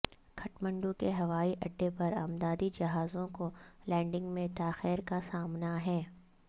کھٹمنڈو کے ہوائی اڈے پر امدادی جہازوں کو لینڈنگ میں تاخیر کا سامنا ہے